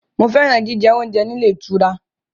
Mo fẹ́ràn jíjẹ oúnjẹ ní ilé ìtura.